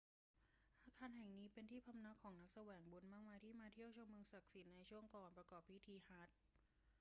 อาคารแห่งนี้เป็นที่พำนักของผู้แสวงบุญมากมายที่มาเที่ยวชมเมืองศักดิ์สิทธิ์ในช่วงก่อนประกอบพิธีฮัจญ์